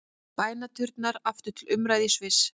Bænaturnar aftur til umræðu í Sviss